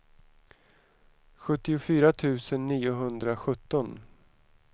sjuttiofyra tusen niohundrasjutton